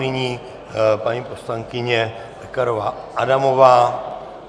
Nyní paní poslankyně Pekarová Adamová.